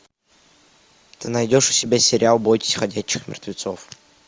ты найдешь у себя сериал бойтесь ходячих мертвецов